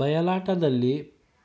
ಬಯಲಾಟದಲ್ಲಿ